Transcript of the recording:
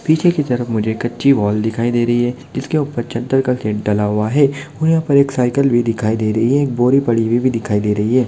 पीछे की तरफ मुझे कच्ची वाल दिखाई दे रही है जिसके ऊपर एक चद्दर का डाला हुआ है और यहाँ पर एक साइकिल भी दिखाई दे रही है एक बोरी पड़ी हुई भी दिखाई दे रही है।